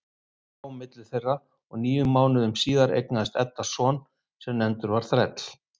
Hann svaf milli þeirra og níu mánuðum síðar eignaðist Edda son sem nefndur var Þræll.